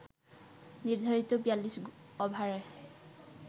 নির্ধারিত ৪২ ওভারে